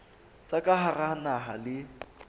tsa ka hara naha le